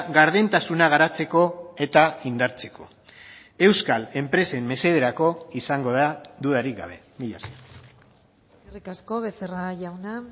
gardentasuna garatzeko eta indartzeko euskal enpresen mesederako izango da dudarik gabe mila esker eskerrik asko becerra jauna